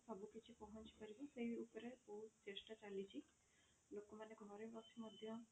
ସବୁ କିଛି ପହଞ୍ଚି ପାରିବ ସେଇ ଉପରେ ବହୁତ ଚେଷ୍ଟା ଚାଲିଛି ଲୋକମାନେ ଘରେ ବସି ମଧ୍ୟ